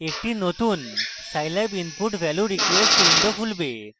একটি নতুন scilab input value request window খুলবে